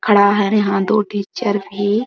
खड़ा है यहाँ दो टीचर भी --